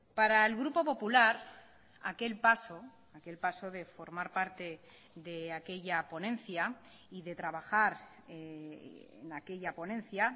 para el grupo popular aquel paso aquel paso de formar parte de aquella ponencia y de trabajar en aquella ponencia